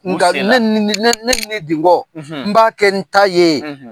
Nka ne nin nin ne nin de bɔ n b'a kɛ n ta ye